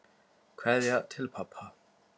Kveðja til pabba.